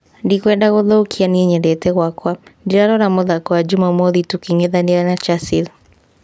" Ndikwenda gũthũkia, niĩ nyendete gwaka. Ndĩrarora mũthako wa Jumamothi tũkĩng'ethanĩra na Chasile."